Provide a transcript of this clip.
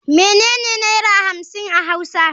Menene naira hamsin a hauwa?